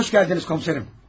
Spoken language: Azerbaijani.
Xoş gəldiniz komissarım.